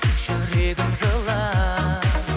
жүрегім жылап